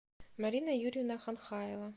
марина юрьевна ханхаева